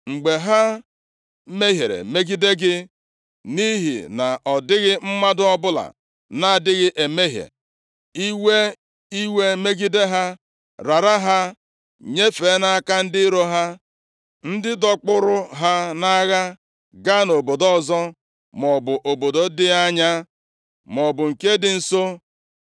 “Mgbe ha mehiere megide gị, nʼihi na ọ dịghị mmadụ ọbụla na-adịghị emehie, ị wee iwe megide ha, rara ha nyefee nʼaka ndị iro ha, ndị dọkpụrụ ha nʼagha gaa nʼobodo ọzọ, maọbụ obodo dị anya maọbụ nke dị nso;